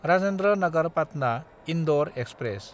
Rajendra Nagar पाटना–इन्दर express